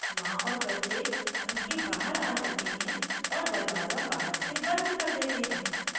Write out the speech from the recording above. माँ और बच्चे घर के बाहर आ जाते हैं और दरवाज़ा बहार से बंद कर देते हैं